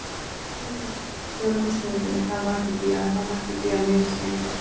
Förum núna, förum á stundinni, það má ekki bíða, það má ekki bíða mínútu lengur.